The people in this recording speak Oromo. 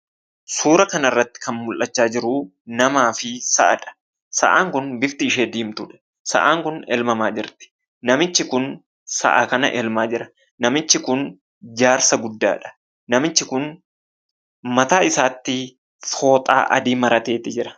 Suuraa kanarratti kan mul'achaa jiru namafi sa'adha. Sa'aan kun bifti ishee diimtuudha. Sa'aan kun elmamaa jirti, namichi kun sa'a kana elmaa jira. Namichi kun jaarsa guddaadha. Namichi kun mataa isaatti fooxaa adii marateeti jira.